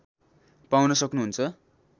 पाउन सक्नु हुन्छ